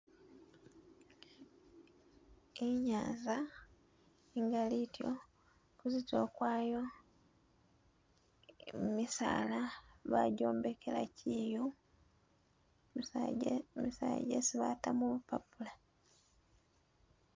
Inyanza ingalityo idyo kuzitulo kwayo Misaala bagyombekela kyiyu misaala gyesi bata mumpapula